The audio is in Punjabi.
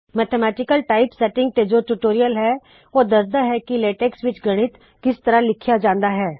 ਮੈਥਮੈਟਿਕਲ ਟਾਈਪਸੈਟਿੰਗ ਤੇ ਜੋ ਟਯੂਟੋਰਿਅਲ ਹੈ ਓਹ ਦਸਦਾ ਹੈ ਕਿ ਲੇਟੇਕ੍ਸ ਵਿੱਚ ਗਣਿਤ ਕਿਸ ਤਰਹ ਲਿਖਿਆ ਜਾੰਦਾ ਹੈ